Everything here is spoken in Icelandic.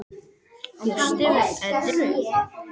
Bjóstu við öðru?